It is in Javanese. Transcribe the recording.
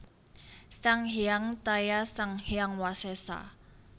Sang Hyang Taya Sang Hyang Wasesa